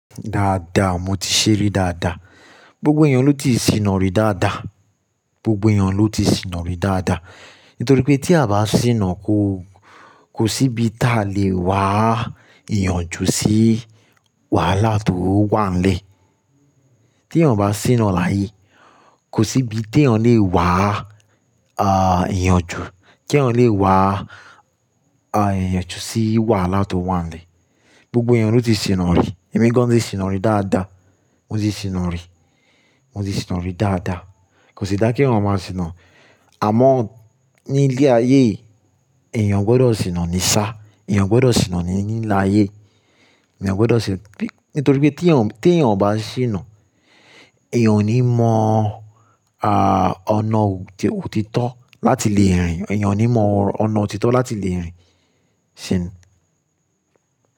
Dáadáa, mo ti ṣe rí dáadáa. Gbogbo èèyàn ló ti sìna rí dáa dáa. Ni Gbogbo èèyàn ló ti sìńa rí dáadáa. Nítorí pé tí a bá sì ńa ko, kò sí ibi tá lè wá èèyàn ju sí wàhálà tó wà nílé. Tí èèyàn bá sì ńa láyé, kò sí ibi tí èèyàn lè wá, ah, èèyàn ju, tí èèyàn lè wá, ah, èèyàn ju sí wàhálà tó wà nílé. Gbogbo èèyàn ló ti sì ń rí. Ẹ̀mi gan an ti sì ńa rí dáadáa. Mo ti sì ń rí. Mo ti sì ń rí dáadáa. Kò sí dá kí èèyàn má sì ń. Àmọ́ ní ilé ayé, èèyàn gbọ́dọ̀ sì ńa ní sá, èèyàn gbọ́dọ̀ sì ńa ní ní ilé ayé, èèyàn gbọ́dọ̀ sì-- nítorí pé tí èèyàn, tí èèyàn bá sì ń, èèyàn ò ní mọ̀, ah, ọ̀nà òtítọ́ láti le rìn. Ẹ̀yàn ò ní mọ̀ ọ̀nà òtítọ́ láti le ẹ̀yìn. Ṣì ń.